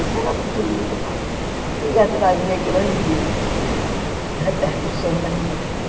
Isso era muito lindo, mas não ia trazer grandes repercussões na minha vida.